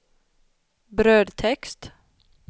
brödtext